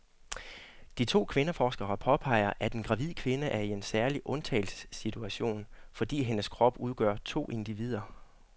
De to kvindeforskere påpeger, at en gravid kvinde er i en særlig undtagelsessituation, fordi hendes krop udgør to individer.